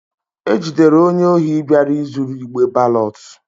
E jidere onye ohi bịara izuru igbe balọt.